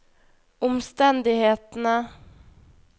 omstendighetene